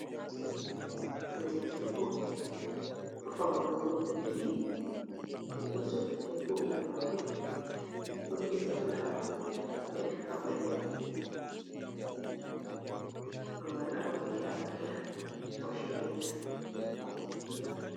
Bingel debbo faunowo babal buki. Odo sukli be kugal mako. Odo disa flower hadou labule, babal ango be amariya o' shirya ta.